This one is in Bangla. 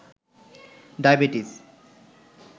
ডাইবেটিস